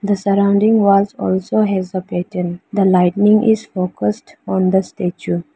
the surrounding walls also have a pattern. The lightning is focused on the statue.